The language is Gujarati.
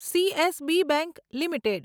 CSB bank limited